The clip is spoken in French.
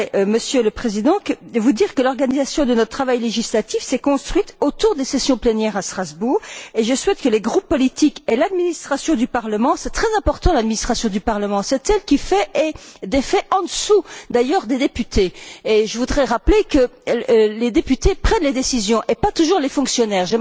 Monsieur le Président, je voudrais vous dire que l'organisation de notre travail législatif s'est construite autour des sessions plénières à Strasbourg et je souhaite que les groupes politiques et l'administration du Parlement l'administration du Parlement est très importante car c'est elle qui fait et défait, en dessous d'ailleurs des députés, et je voudrais rappeler que ce sont les députés qui prennent les décisions et pas toujours les fonctionnaires